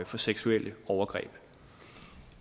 for seksuelle overgreb